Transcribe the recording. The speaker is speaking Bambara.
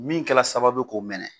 Min kɛ la sababu ye k'o mɛnɛ